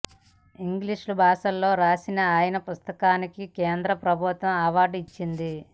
ఇంగ్లీష్లో భాషలో రాసిన ఆయన పుస్తకానికి కేంద్ర ప్రభుత్వం అవార్డు ఇచ్చింది